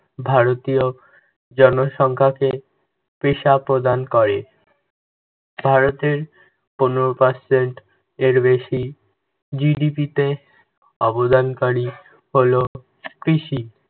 ভারতীয় জনসংখ্যাকে পেশা প্রদান করে। ভারতের পনেরো percent এর বেশি GDP তে অবদানকারী হলো কৃষি।